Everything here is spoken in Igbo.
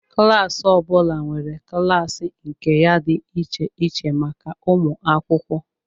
Klas ọ bụla nwere klaasị nke ya dị iche iche maka ụmụ akwụkwọ